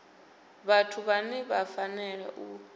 vhathu vhane vha fanela u